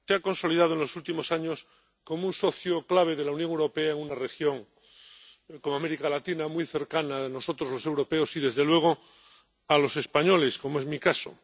Señor presidente, Colombia se ha consolidado en los últimos años como un socio clave de la Unión Europea en una región como América Latina, muy cercana a nosotros, los europeos, y desde luego, a los españoles, como es mi caso.